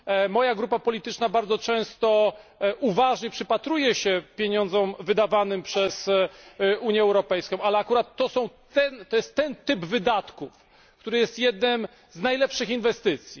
Moja grupa polityczna bardzo często uważnie przypatruje się pieniądzom wydawanym przez Unię Europejską, ale akurat to jest ten typ wydatków, który jest jedną z najlepszych inwestycji.